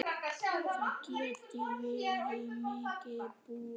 Það geti verið mikil búbót.